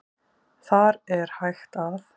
Þar er hægt að